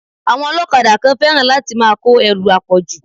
Àwọn ọlọ́kadà kan fẹ́ràn láti máa kó ẹrù àpọ̀jù.